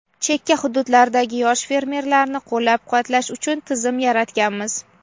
chekka hududlardagi yosh fermerlarni qo‘llab-quvvatlash uchun tizim yaratganmiz.